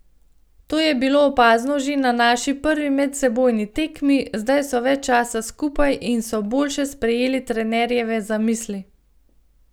To je bilo opazno že na naši prvi medsebojni tekmi, zdaj so več časa skupaj in so boljše sprejeli trenerjeve zamisli.